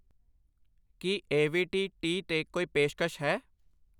ਕੀ AVT T 'ਤੇ ਕੋਈ ਪੇਸ਼ਕਸ਼ ਹੈ?